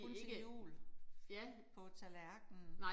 Kun til jul. På tallerkenen